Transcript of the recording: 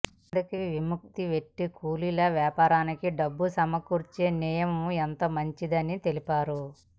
అందుకే విముక్త వెట్టి కూలీల వాపారానికి డబ్బు సమకూర్చే నియమం ఎంతో మంచిదని తెలిపారు